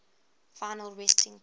final resting place